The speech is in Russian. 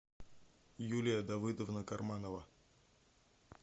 юлия давыдовна карманова